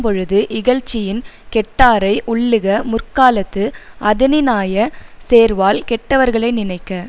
பொழுது இகழ்ச்சியின் கெட்டாரை உள்ளுக முற்காலத்து அதனினாய சேர்வால் கெட்டவர்களை நினைக்க